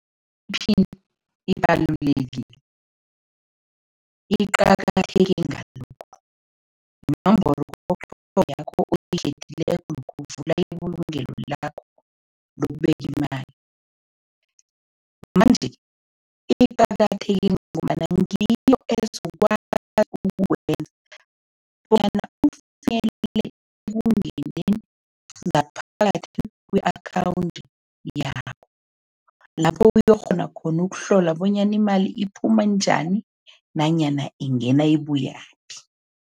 Iphini ibalulekile. Iqakatheke ngalokhu, yinomboro yakho oyikhethileko lokha uvula ibulungelo lakho lokubeka imali, manje, iqakatheke ngombana ngiyo ezokwazi ukukwenza bona ekungeneleni ngaphakathi ku-akhawundi yabo, lapho uyokukghona khona ukuhlola bonyana imali iphuma njani nanyana ingena ibuyaphi.